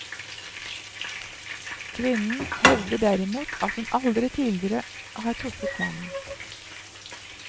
Kvinnen hevder derimot at hun aldri tidligere har truffet mannen.